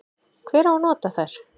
Hver á nota þær?